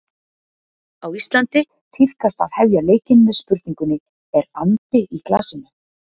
Á Íslandi tíðkast að hefja leikinn með spurningunni: Er andi í glasinu?